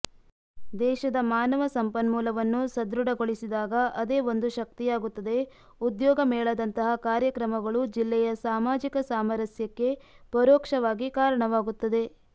ದೇಶದ ಮಾನವ ಸಂಪನ್ಮೂಲವನ್ನು ಸದೃಢಗೊಳಿಸಿದಾಗ ಅದೇ ಒಂದು ಶಕ್ತಿಯಾಗುತದೆ ಉದ್ಯೋಗ ಮೇಳದಂತಹ ಕಾರ್ಯಕ್ರಮಗಳು ಜಿಲ್ಲೆಯ ಸಾಮಾಜಿಕ ಸಾಮರಸ್ಯಕ್ಕೆ ಪರೋಕ್ಷವಾಗಿ ಕಾರಣವಾಗುತ್ತದೆ